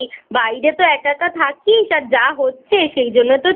বাইরে তো একা একা থাকিস আর যা হচ্ছে সেইজন্য তো